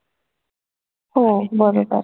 हो बरोबर